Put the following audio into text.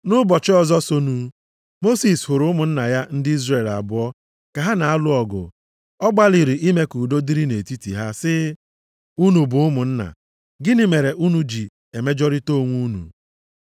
Nʼụbọchị ọzọ sonụ, Mosis hụrụ ụmụnna ya ndị Izrel abụọ ka ha na-alụ ọgụ. Ọ gbalịrị ime ka udo dịrị nʼetiti ha, sị, ‘Unu bụ ụmụnna, gịnị mere unu ji emejọrịta onwe unu?’